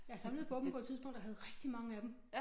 Jeg samlede på dem på et tidspunkt og havde rigtig mange af dem